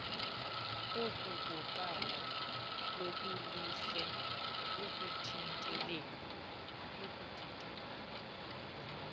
okokuqala lujolise ekuthinteleni